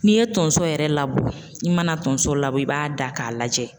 N'i ye tonso yɛrɛ labɔ i mana tonso labɔ i b'a da k'a lajɛ